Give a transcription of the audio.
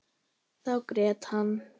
Þá grét hann.